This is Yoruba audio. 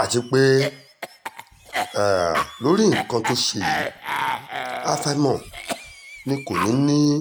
àti pé um lórí nǹkan tó ṣe yìí àfàìmọ̀ ni kò ní í